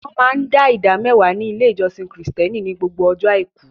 Wọ́n máa dá ìdámẹ́wàá ní ilé ìjọsìn Kìrìtẹ̀ẹ́nì ní gbogbo ọjọ́ àìkú.